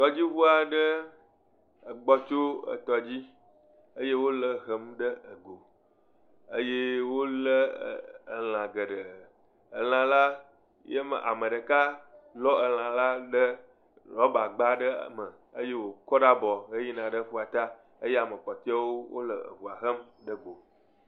Tɔdziŋu aɖe egbɔ tso etɔ dzi eye wole hem ɖe go eye wolé elã geɖee, elã la, ye ma ame ɖeka lɔ elã la ɖe rɔba gba aɖe me eye wòkɔ ɖe abɔ heyina ɖe aƒuata eye ame kpɔtɔewo wole eŋua hem ɖe go.